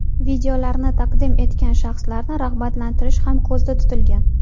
Videolarni taqdim etgan shaxslarni rag‘batlantirish ham ko‘zda tutilgan.